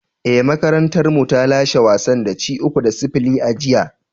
Ee, makarantarmu ta lashe wasan da ci uku da sifili a jiya."